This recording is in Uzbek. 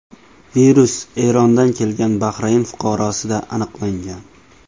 Virus Erondan kelgan Bahrayn fuqarosida aniqlangan.